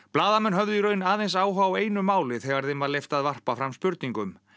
blaðamenn höfðu í raun aðeins áhuga á einu máli þegar þeim var leyft að varpa fram spurningum